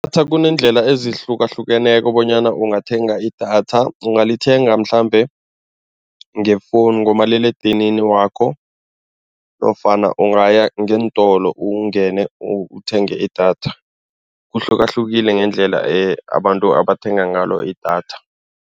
Kuneendlela ezihlukahlukeneko bonyana ungathenga idatha. Ungalithenga mhlambe ngefowuni, ngomaliledinini wakho nofana ungaya ngeentolo ungene, uthenge idatha kuhlukahlukile ngendlela abantu abathenga ngalo idatha.